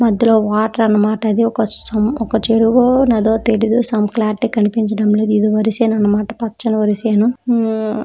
మధ్యలో వాటర్ అన్నమాట అది ఒక సమ్ ఒక చెరువు నదో తెలియదు సమ్ క్లారిటీ కనిపించడం లేదు ఇది వరి చేను అన్నమాట పచ్చని వరిచేను .